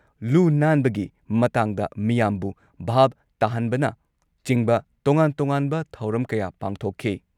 ꯂꯨ-ꯅꯥꯟꯕꯒꯤ ꯃꯇꯥꯡꯗ ꯃꯤꯌꯥꯝꯕꯨ ꯚꯥꯕ ꯇꯥꯍꯟꯕꯅꯆꯤꯡꯕ ꯇꯣꯉꯥꯟ ꯇꯣꯉꯥꯟꯕ ꯊꯧꯔꯝ ꯀꯌꯥ ꯄꯥꯡꯊꯣꯛꯈꯤ ꯫